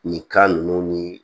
Nin kan ninnu ni